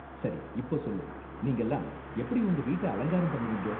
சரி இப்போ சொல்லு, நீங்கலாம் எப்படி உங்க வீட்ட அலங்காரம் பண்ணுவீங்க?